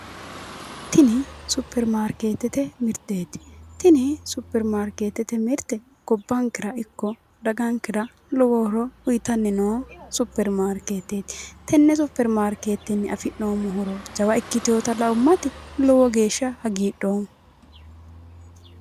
Tini supirimaariketete mirte gobbankera ikko dagankera lowo horo uyittani noo supirimaariketeti, tene supirimaariketeni afi'neemmo horo jawa ikkitinotta laummati lowo geeshsha hagiidhoomma.